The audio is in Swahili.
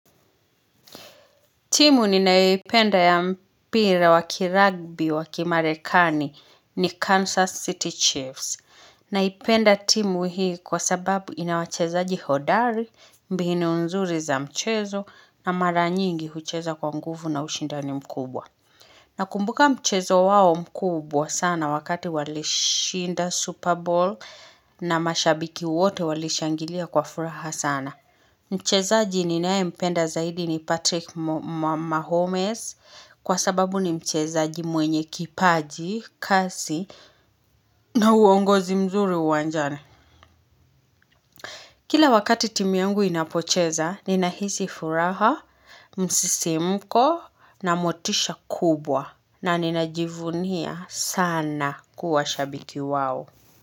Timu ninayoipenda ya mpira wa kiragbi wa kimarekani ni Kansas City Chiefs. Naipenda timu hii kwa sababu ina wachezaji hodari, mbinu nzuri za mchezo na mara nyingi hucheza kwa nguvu na ushindani mkubwa. Nakumbuka mchezo wao mkubwa sana wakati walishinda Super Bowl na mashabiki wote walishangilia kwa furaha sana. Mchezaji ninayempenda zaidi ni Patrick Mahomes kwa sababu ni mchezaji mwenye kipaji, kasi na uongozi mzuri uwanjani. Kila wakati timu yangu inapocheza ninahisi furaha, msisimuko na motisha kubwa na ninajivunia sana kuwa shabiki wao.